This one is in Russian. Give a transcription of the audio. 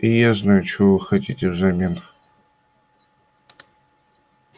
и я знаю чего вы хотите взамен